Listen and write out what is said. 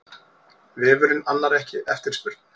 Vefurinn annar ekki eftirspurn